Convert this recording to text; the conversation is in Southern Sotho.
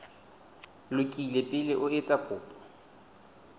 lokile pele o etsa kopo